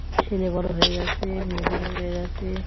ছেলে বড় হয়ে গেছে মেয়ে বড় হয়ে গেছে